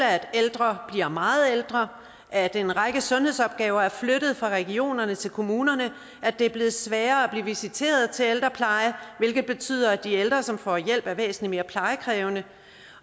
at ældre bliver meget ældre at en række sundhedsopgaver er flyttet fra regionerne til kommunerne og at det er blevet sværere at blive visiteret til ældrepleje hvilket betyder at de ældre som får hjælp er væsentlig mere plejekrævende